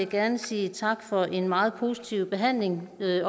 gerne sige tak for en meget positiv behandling